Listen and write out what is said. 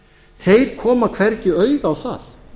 þeir koma hvergi auga á það